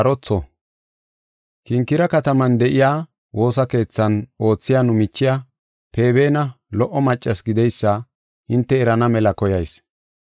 Kinkire kataman de7iya woosa keethan oothiya nu michiya Feebena lo77o maccas gideysa hinte erana mela koyayis.